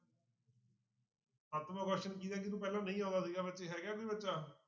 ਸਤਵਾਂ question ਕਿਹਦਾ ਜਿਹਨੂੰ ਪਹਿਲਾ ਨਹੀਂ ਆਉਂਦਾ ਸੀਗਾ ਬੱਚੇ ਹੈਗਾ ਕੋਈ ਬੱਚਾ।